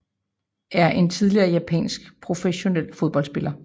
er en tidligere japansk professionel fodboldspiller